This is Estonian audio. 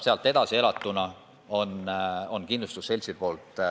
Sealt edasi maksab iga elatud aasta eest talle kindlustusselts.